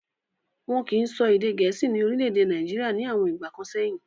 Wọ́n kìí sọ èdè gẹ̀ẹ́sì ní orílẹ̀-èdè Nàìjíríà ní àwọn ìgbà kan sẹ́yìn.